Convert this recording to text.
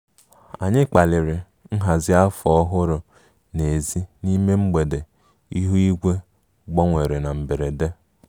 Anyị kpaliri nhazi afọ ọhụrụ n'èzí n'ime mgbe ihu igwe gbanwere na mberede